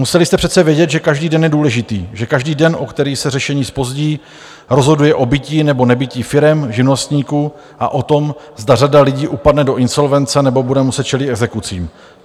Museli jste přece vědět, že každý den je důležitý, že každý den, o který se řešení zpozdí, rozhoduje o bytí nebo nebytí firem, živnostníků a o tom, zda řada lidí upadne do insolvence nebo bude muset čelit exekucím.